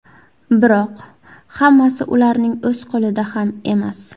Biroq hammasi ularning o‘z qo‘lida ham emas.